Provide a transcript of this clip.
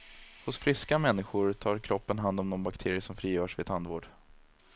Hos friska människor tar kroppen hand om de bakterier som frigörs vid tandvård.